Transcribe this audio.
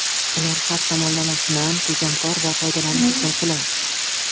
Ular har tomonlama shinam, tejamkor va foydalanish uchun qulay.